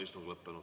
Istung on lõppenud.